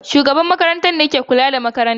shugaban makarantar ne ke kula da makarantar